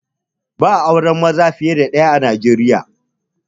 Ba'a aure maza fiye da ɗaya a Nijeriya